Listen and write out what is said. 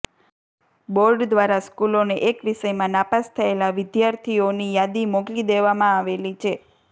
board દ્વારા સ્કૂલોને એક વિષયમાં નાપાસ થયેલા વિદ્યાર્થીઓ ની યાદી મોકલી દેવામાં આવેલી છે